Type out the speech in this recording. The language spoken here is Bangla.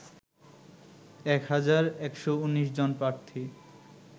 ১ হাজার ১১৯ জন প্রার্থী